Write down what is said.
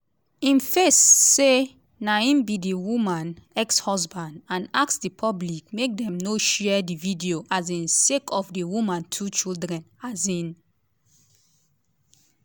im face say na im be di woman ex-husband and ask di public make dem no share di video um sake of di woman two children. um